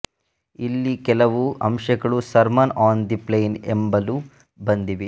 ಇಲ್ಲಿನ ಕೆಲವು ಅಂಶಗಳು ಸರ್ಮನ್ ಆನ್ ದಿ ಪ್ಲೇನ್ ಎಂಬಲ್ಲೂ ಬಂದಿವೆ